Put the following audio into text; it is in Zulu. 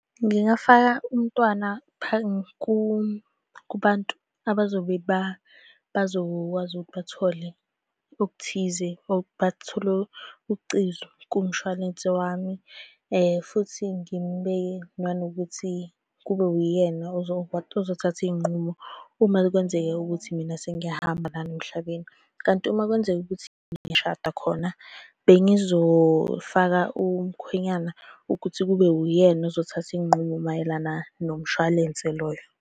Ngingafaka umntwana kubantu abazobe bazokwazi ukuthi bathole okuthize or bathole ucezu kumshwalense wami, futhi ngimubeke nanokuthi kube wuyena ozothatha iy'nqumo. Uma kwenzeka ukuthi mina sengiyahamba lana emhlabeni, kanti uma kwenzeka ukuthi ngishada khona, bengizofaka umkhwenyana ukuthi kube uyena ozothatha iy'nqumo mayelana nomshwalense loyo.